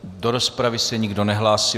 Do rozpravy se nikdo nehlásí.